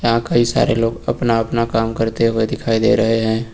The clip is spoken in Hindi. यहां कई सारे लोग अपना अपना काम करते हुए दिखाई दे रहे हैं।